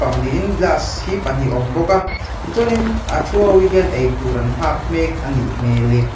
niin glass hi pahnih a awm bawk a tichuanin a ṭhu ho hian ei tur an nghak mek a nih hmel e.